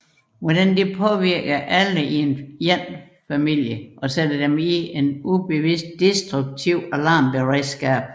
Hvordan det påvirker alle i en familie og sætter dem i et ubevidst destruktivt alarmberedskab